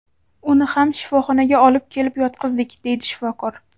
Uni ham shifoxonaga olib kelib yotqizdik”, deydi shifokor.